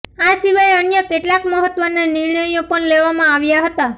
આ સિવાય અન્ય કેટલાક મહત્વના નિર્ણયો પણ લેવામાં આવ્યા હતા